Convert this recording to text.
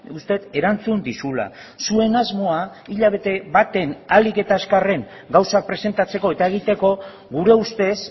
uste dut erantzun dizula zuen asmoa hilabete baten ahalik eta azkarren gauzak presentatzeko eta egiteko gure ustez